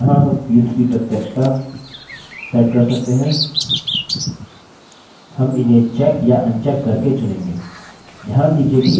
यहाँ हम fields की प्रत्यक्षता set कर सकते हैं हम इन्हें चेक या अनचेक करके चुनेंगे